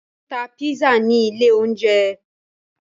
Wọn tá pizza ní ilé oúnjẹ